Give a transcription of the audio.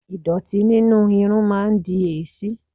Ìdọ̀tí nínú irun máa ń di èéṣí.